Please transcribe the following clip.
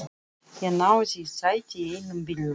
Ég náði í sæti í einum bílnum.